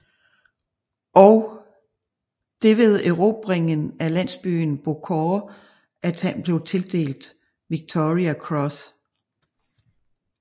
Og det ved erobringen af landsbyen Beaucourt at han blev tildelt Victoria Cross